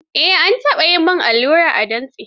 Eh, an taɓa yi min allura a dantse.